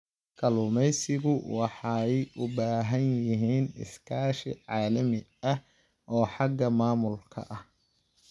Kalluumaysigu waxay u baahan yihiin iskaashi caalami ah oo xagga maamulka ah.